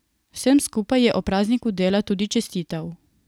Vsem skupaj je ob prazniku dela tudi čestital.